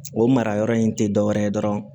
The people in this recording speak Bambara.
O mara yɔrɔ in tɛ dɔ wɛrɛ ye dɔrɔn